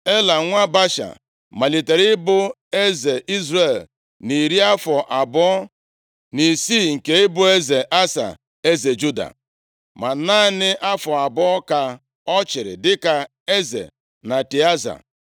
Ela, nwa Baasha, malitere ịbụ eze Izrel nʼiri afọ abụọ na isii nke ịbụ eze Asa, eze Juda. Ma naanị afọ abụọ ka ọ chịrị dịka eze na Tịaza.